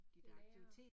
Det nærere